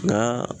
Nka